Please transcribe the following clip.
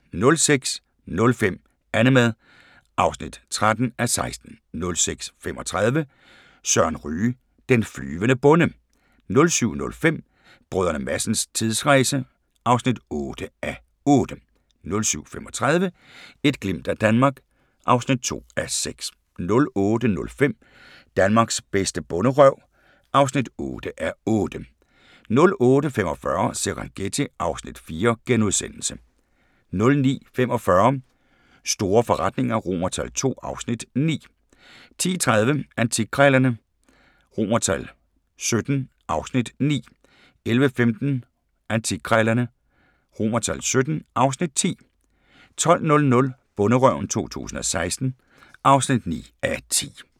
06:05: Annemad (13:16) 06:35: Søren Ryge: Den flyvende bonde 07:05: Brdr. Madsens tidsrejse (8:8) 07:35: Et glimt af Danmark (2:6) 08:05: Danmarks bedste bonderøv (8:8) 08:45: Serengeti (Afs. 4)* 09:45: Store forretninger II (Afs. 9) 10:30: Antikkrejlerne XVII (Afs. 9) 11:15: Antikkrejlerne XVII (Afs. 10) 12:00: Bonderøven 2016 (9:10)